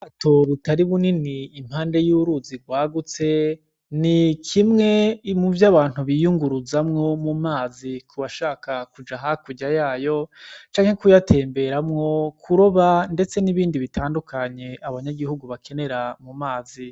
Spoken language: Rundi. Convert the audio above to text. Ubwato butari bunini impande y'uruzi rwagutse, ni kimwe muvyo abantu biyunguruzamwo mu mazi kubashaka kuja hakurya yayo canke kuyatemberamwo, kuroba ndetse n'ibindi bitandukanye, abanyagihugu bakenera mu mazi.